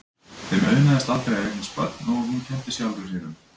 Þeim auðnaðist aldrei að eignast börn og hún kenndi sjálfri sér um.